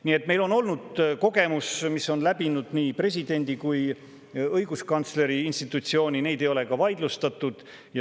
Nii et meil on olnud selliseid kogemusi, nii presidendi kui ka õiguskantsleri institutsioonilt, neid ei ole vaidlustatud.